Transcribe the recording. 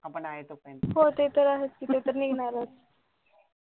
हो ते तर आहेच ते तर निघणारच